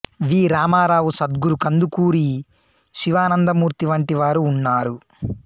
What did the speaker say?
వి రామారావు సద్గురు కందుకూరి శివానందమూర్తి వంటి వారు ఉన్నారు